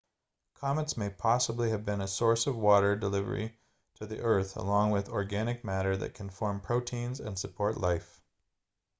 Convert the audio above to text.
comets may possibly have been a source of water delivery to the earth along with organic matter that can form proteins and support life